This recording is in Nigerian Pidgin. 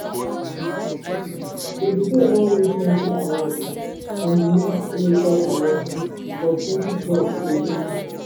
davido don win plenti awards um from di next rated award for 2012 till date